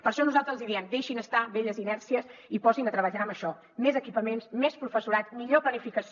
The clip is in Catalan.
per això nosaltres els hi diem deixin estar velles inèrcies i posinse a treballar en això més equipaments més professorat millor planificació